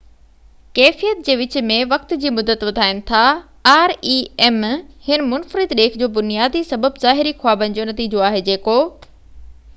هن منفرد ڏيک جو بنيادي سبب ظاهري خوابن جو نتيجو آهي جيڪو rem ڪيفيت جي وچ ۾ وقت جي مدت وڌائين ٿا